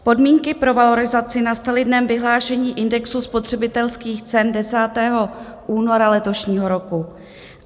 Podmínky pro valorizace nastaly dnem vyhlášení indexu spotřebitelských cen 10. února letošního roku.